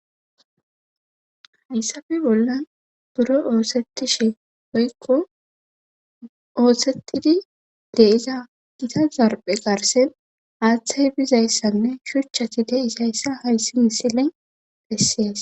hayssafe bollan buro oohsetishe oykko oothshetidi deiza gita zarphe qarsen aaththay bizayssanne shuchchati deisayssa hayssi misilen bessies